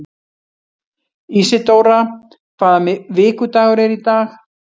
Ísidóra, hvaða vikudagur er í dag?